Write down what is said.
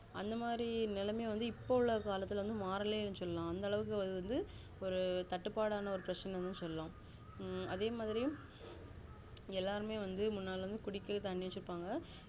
அந்த மாதிரி நிலைமை வந்து இப்போ உள்ள காலத்துல வந்து மாறலையேனு சொல்லலாம் அந்த அளவுக்கு ஒரு தட்டுப்பாடுனா பிரச்சினைனுசொல்லலாம் அதே மாதிரியும் எல்லாருமே வந்து முன்னாடி குடிக்குற தண்ணி வச்சிருப்பாங்க